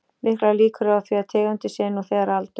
Miklar líkur eru á því að tegundin sé nú þegar aldauða.